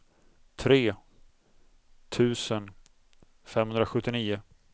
tre tusen femhundrasjuttionio